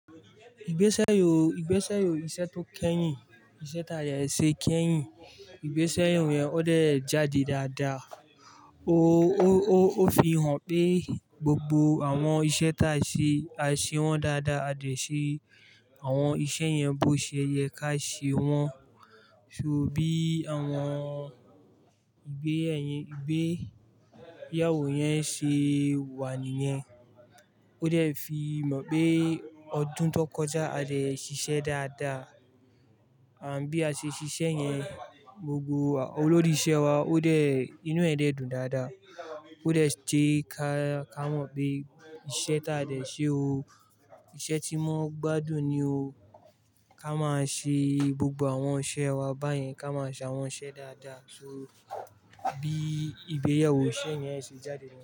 Ìgbésẹ́ yò, ìgbésẹ́ yò iṣẹ́ tó kẹ́yìn, iṣẹ́ tá àyè ṣe kẹ́yìn, ìgbésẹ́ yò yẹn ó dẹ̀ jáde dáadáa. O fi hàn pé gbogbo àwọn iṣẹ́ tá ṣe, a ṣe wọ́n dáadáa. A dẹ̀ ṣe àwọn iṣẹ́ yẹn bó ṣe yẹ ká ṣe wọ́n. So bí àwọn ìgbéyàwó yẹn ṣe wà níyẹn, ó dẹ̀ fi mọ̀ pé ọdún tó kọjá a dẹ̀ ṣiṣẹ́ dáadáa. Ànd bi a ṣe ṣiṣẹ́ yẹn, gbogbo olórí isẹ wa ó dẹ̀ inú ẹ̀ dùn dáadáa. Ó dẹ̀ je ká mọ́ pé iṣẹ́ tá dẹ̀ ṣe o, iṣẹ́ tí wọn gbádùn ni o. Ka máa ṣe gbogbo àwọn isẹ wa báyen, ká máa ṣe àwọn iṣẹ́ dáadáa. So bí ìgbéyàwó iṣẹ́ yẹn ṣe jáde náà.